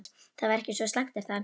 Það væri ekki svo slæmt er það?